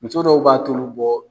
Muso dɔw b'a tulu bɔ.